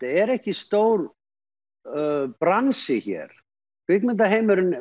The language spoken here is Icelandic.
er ekki stór bransi hér